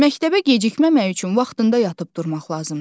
Məktəbə gecikməmək üçün vaxtında yatıb durmaq lazımdır.